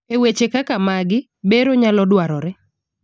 eweche kaka magi, bero nyalo dwarore